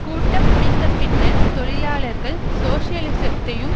கூட்டம் முடிந்த பின்னர் தொழிலாளர்கள் சோசலிசத்தையும்